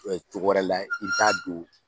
cogo wɛrɛ layɛ i bi t'a don